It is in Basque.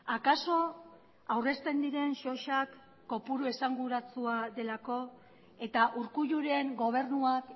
akaso aurrezten diren sosak kopuru esanguratsua delako eta urkulluren gobernuak